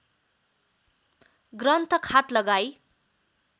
ग्रन्थ खात लगाई